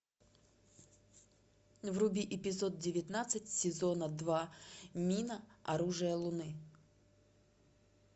вруби эпизод девятнадцать сезона два мина оружие луны